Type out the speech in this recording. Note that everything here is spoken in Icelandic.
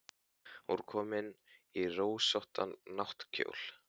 Hún var komin í rósóttan náttkjól.